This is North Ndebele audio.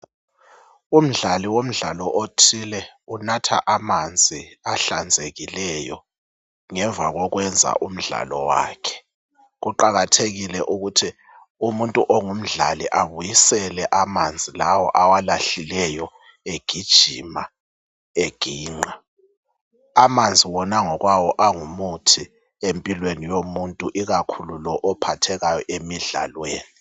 Umdlali womdlalo othile unatha amanzi ahlanzekileyo ngemva kokwenza umdlalo wakhe kuqakathekile ukuthi umuntu ongumdlali abuyisele amanzi lawa awalahlileyo egijima eginqa amanzi wona ngokwawo angumuthi empilweni yomuntu ikakhulu lo ophathekayo emidlalweni